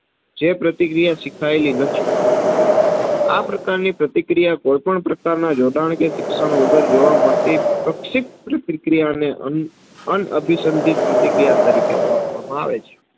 જે પ્રતિક્રિયા શિખાયેલી નથી. આ પ્રકાર ની પ્રતિક્રિયા કોઈ પણ પ્રકાર ના જોડાણ કે શિક્ષણ વગર જોવા મડતી પ્રકશિપ્ત પ્રતિક્રિયા ને અન અનઅભિસંધીત પ્રતિક્રિયા તરીકે ઓડખવામાં આવે છે.